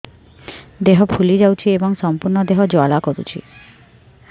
ଦେହ ଫୁଲି ଯାଉଛି ଏବଂ ସମ୍ପୂର୍ଣ୍ଣ ଦେହ ଜ୍ୱାଳା କରୁଛି